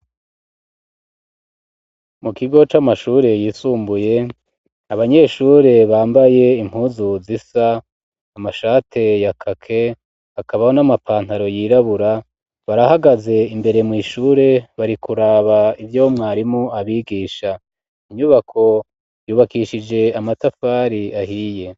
Mu kigo c'amashure yisumbuye ,abanyeshure bambaye impuzu zisa amashati ya kake, hakabaho n'amapantaro yirabura ,barahagaze imbere mw' ishure ,bari kuraba ivyomwarimu abigisha ,inyubako yubakishije amatafari ahiye.